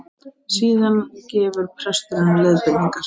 Síðan gefur presturinn leiðbeiningar